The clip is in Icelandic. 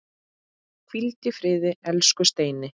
Hvíldu í friði, elsku Steini.